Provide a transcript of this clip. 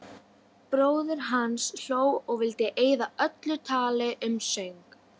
Bróðir hans hló og vildi eyða öllu tali um söng.